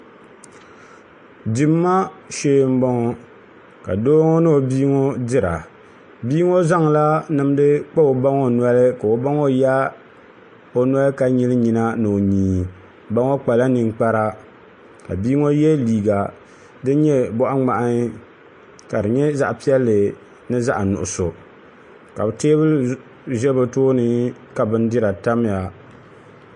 Dimma shee n boŋo ka doo ŋo ni o bia ŋo dira bia ŋo zaŋla nimdi kpa o ba ŋo noli ka o ba ŋo yaai o noli ka nyili nyina ni o nyii ba ŋo kpala ninkpara ka bia ŋo yɛ liiga din nyɛ boɣa ŋmahi ka di nyɛ zaɣ piɛlli ni zaɣ nuɣso ka bi teebuli ʒɛ bi tooni ka bindira tamya